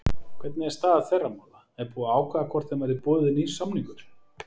Hvernig er staða þeirra mála, er búið að ákveða hvort þeim verði boðinn nýr samningur?